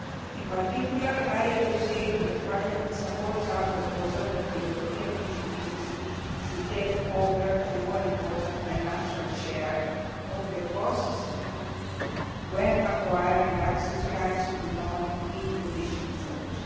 industry. In particular, I appreciate that Parliament supports our proposal that the European fishing industry should take over a more important financial share of the costs when acquiring access rights to non EU fishing